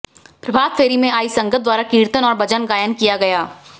प्रभात फेरी में आई संगत द्वारा कीर्तन और भजन गायन किया गया